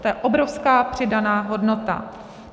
To je obrovská přidaná hodnota.